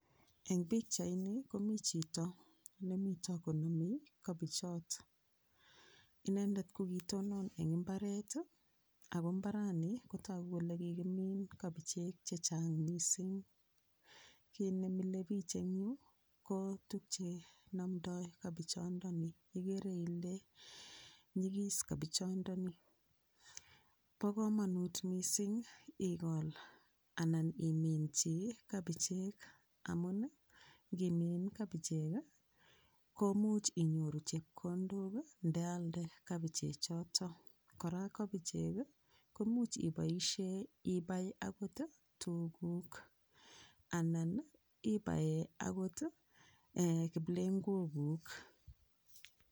Eng pikchait ni komii chito nemiito konomei kabichot inendet kokitonon eng imbaret ako imbarani kotoku kole kikimiin kibichek chechang mising kit nemilei piich eng Yu ko tukye nomdoi kobichondoni ikere Ile nyigis kobichondoni bo komonut mising ikol anan imin chii kobichek amun ngimin kabichek ko much inyoruu chepkondok ndealde kabichek choto kora kabichek komuch iboishee ibaee akot tuguuk anan ibaee akot kiplengwokuk